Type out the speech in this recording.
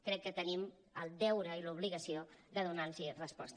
crec que tenim el deure i l’obligació de donar los resposta